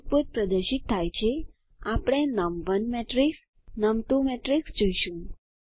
output પ્રદર્શિત થાય છે આપણે નમ1 મેટ્રેક્સ નમ2 મેટ્રિક્સ જોઈશું